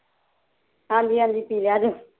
ਹਾਜੀ ਹਾਂਜੀ ਪੀ ਲਿਆ ਜੇ